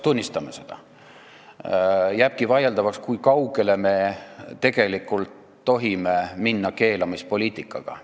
Tunnistame seda, et jääbki vaieldavaks, kui kaugele me tegelikult tohime keelamispoliitikaga minna.